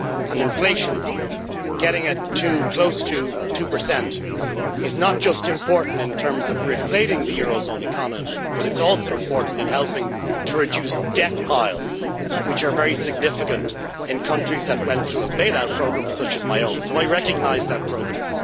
Getting inflation close to 2 is not just important in terms of reflating the eurozone economy, but it is also important in helping to reduce debt piles, which are very significant in countries that went through a bailout programme such as my own, so I recognise that progress.